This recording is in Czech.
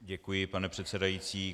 Děkuji, pane předsedající.